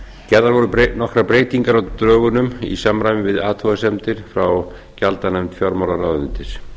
gerðar voru nokkrar breytingar á dögunum í samræmi við athugasemdir frá gjaldanefnd fjármálaráðuneytis